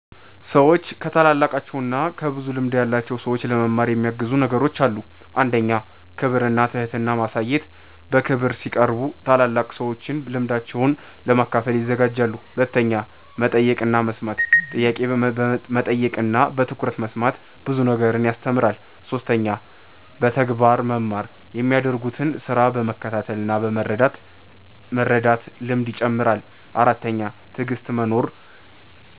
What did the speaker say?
ሰዎች ከታላላቃቸው እና ከብዙ ልምድ ያላቸው ሰዎች ለመማር የሚያግዙ ነገሮች አሉ። 1. ክብር እና ትህትና ማሳየት በክብር ሲቀርቡ ታላላቅ ሰዎች ልምዳቸውን ለመካፈል ይዘጋጃሉ። 2. መጠየቅ እና መስማት ጥያቄ መጠየቅ እና በትኩረት መስማት ብዙ ነገር ያስተምራል። 3. በተግባር መማር የሚያደርጉትን ስራ በመከተል እና በመርዳት ልምድ ይጨምራል። 4. ትዕግሥት መኖር